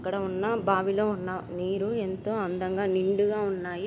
ఇక్కడ ఉన్న బావి లో ఉన్న నీరు ఎంతో అందంగా నిండుగా ఉన్నాయి.